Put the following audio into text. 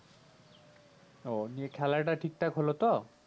ও নিয়ে খেলা টা ঠিকঠাক হলো তো